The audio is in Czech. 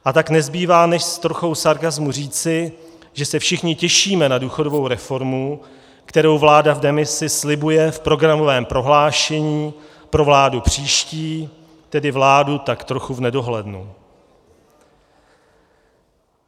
A tak nezbývá než s trochou sarkasmu říci, že se všichni těšíme na důchodovou reformu, kterou vláda v demisi slibuje v programovém prohlášení pro vládu příští, tedy vládu tak trochu v nedohlednu.